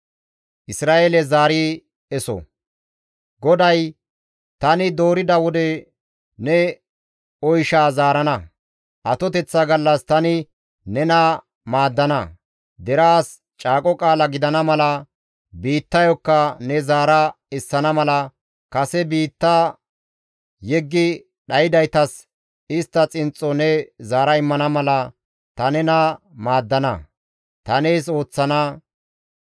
GODAY, «Tani doorida wode ne oyshaa zaarana; atoteththa gallas tani nena maaddana; deraas caaqo qaala gidana mala, biittayokka ne zaara essana mala, kase biitta yeggi dhaydaytas istta xinxxo ne zaara immana mala, ta nena maaddana; ta nees ooththana.